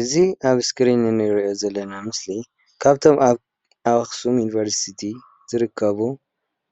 እዚ አብ እስኪሪን እንሪኦ ዘለና ምስሊ ካብቶም ኣበ አክሱም ዩኒቨርስቲ ዝርከቡ